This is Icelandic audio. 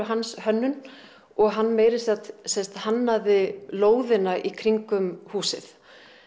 hans hönnun og hann meira að segja hannaði lóðina í kringum húsið